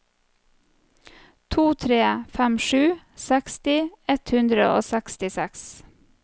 to tre fem sju seksti ett hundre og sekstiseks